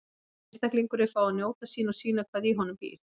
Ég vil að einstaklingurinn fái að njóta sín og sýna hvað í honum býr.